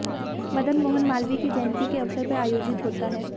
मदन मोहन मालवीय की जयंती के अवसर पर आयोजित होता है